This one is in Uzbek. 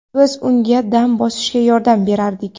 Biz unga dam bosishga yordam berardik.